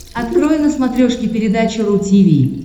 открой на смотрешке передачу ру ти ви